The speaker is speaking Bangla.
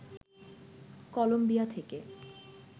কলম্বিয়া থেকে